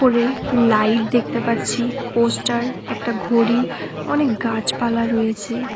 উপরে লাইট দেখতে পাচ্ছি পোস্টার একটা ঘড়ি অনেক গাছপালা রয়েছে।